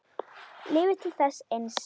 Lifa til þess eins.